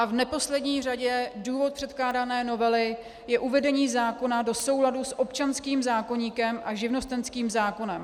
A v neposlední řadě důvod předkládané novely je uvedení zákona do souladu s občanských zákoníkem a živnostenským zákonem.